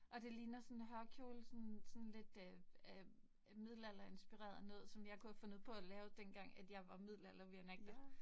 Og det ligner sådan hørkjole sådan sådan lidt øh øh middelalderinspireret noget, som jeg kunne have fundet på at lave den gang at, jeg var middelalder reenactor